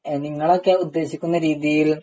നിങ്ങളൊക്കെ ഉദ്ദേശിക്കുന്ന രീതിയിൽ